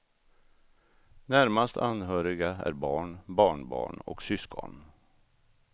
Närmast anhöriga är barn, barnbarn och syskon.